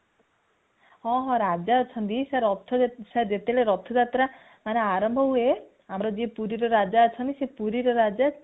ହଁ ହଁ ରାଜା ଅଛନ୍ତି ରଥରେ ଯେତେବେଳେ ରଥ ଯାତ୍ରା ଅମାରମ୍ଭ ହୁଏ ଆମର ଯିଏ ପୁରୀ ର ରାଜା ଅଛନ୍ତି ସେ ପୁରୀ ର ରାଜା